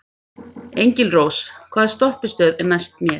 Engilrós, hvaða stoppistöð er næst mér?